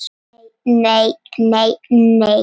Nei, nei, nei, nei.